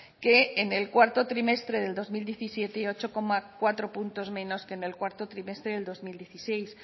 que en el cuarto trimestre del dos mil diecisiete y ocho coma cuatro puntos menos que en el cuarto trimestre del dos mil dieciséis